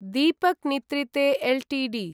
Deepak nitrite Ltd